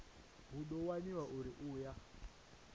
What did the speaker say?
hu ḓo waniwa uri aya